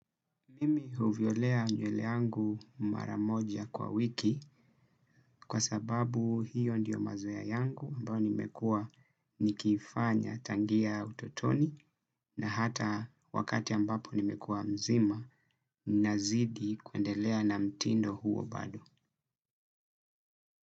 Mimi huvielea nywele yangu mara moja kwa wiki kwa sababu hiyo ndiyo mazoea yangu ambayo nimekua nikifanya tangia utotoni na hata wakati ambapo nimekua mzima nazidi kuendelea na mtindo huo bado.